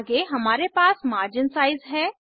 आगे हमारे पास मार्जिन साइज हैं